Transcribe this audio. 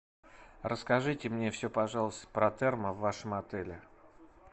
расскажите мне все пожалуйста про термо в вашем отеле